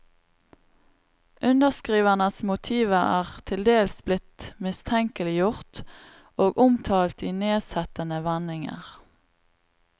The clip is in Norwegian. Underskrivernes motiver er til dels blitt mistenkeliggjort og omtalt i nedsettende vendinger.